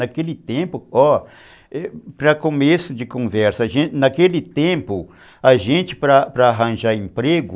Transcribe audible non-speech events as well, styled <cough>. Naquele tempo, ó, para começo de conversa, <unintelligible> naquele tempo, a gente para arranjar emprego,